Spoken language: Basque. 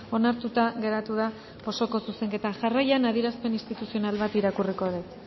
onartuta geratu da osoko zuzenketa jarraian adierazpen instituzional bat irakurriko dut